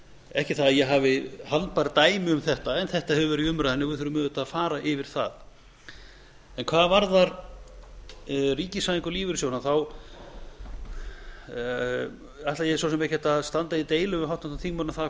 ekki það að ég hafi handbær dæmi um þetta en þetta hefur verið i umræðunni og við þurfum auðvitað að fara yfir það hvað varðar ríkisvæðingu lífeyrissjóðanna ætla ég svo sem ekkert að standa í deilum við háttvirtan þingmann um það